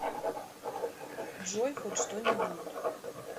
джой хоть что нибудь